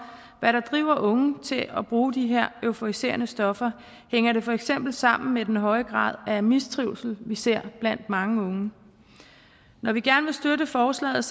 hvad der driver unge til at bruge de her euforiserende stoffer hænger det for eksempel sammen med den høje grad af mistrivsel vi ser blandt mange unge når vi gerne vil støtte forslaget